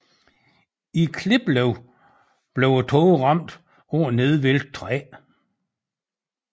I Kliplev blev et tog ramt af et nedvæltet træ